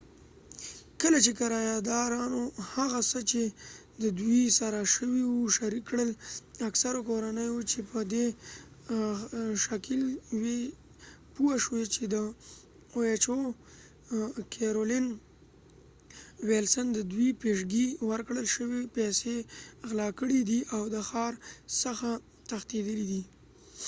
کله چې کرایه دارانوهغه څه چې ددوي سره شوي وه شریک کړل . اکثرو کورنۍو چې په دي ښکېل وي پوه شوي چې د او ایج ای کېرولن ويلسنoha caroline welson ددوي پیشګی ورکړل شوي پیسی غلا کړي دي او د ښار څخه تښتیدلی دي